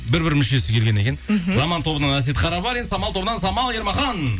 бір бір мүшесі келген екен мхм заман тобынан әсет қарабарин самал тобынан самал ермахан